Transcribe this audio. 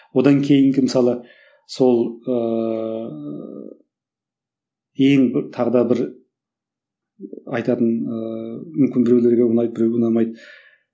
одан кейінгі мысалы сол ыыы ең бір тағы да бір айтатын ыыы мүмкін берулерге ұнайды біреуге ұнамайды